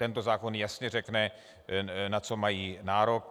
Tento zákon jasně řekne, na co mají nárok.